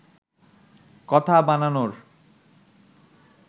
কথা বানানোর